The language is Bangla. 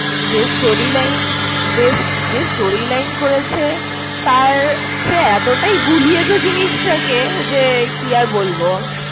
একই ব্যাপার, যে storyline ~যে~যে storyline করেছে তার হচ্ছে এতটাই গুলিয়েছে জিনিসটাকে যে কি আর বলবো।